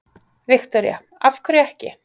Viktoría: Af hverju ekki?